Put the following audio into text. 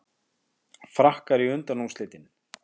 Frakkar í undanúrslitin